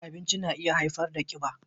Cin abinci na iya haifar da kiba.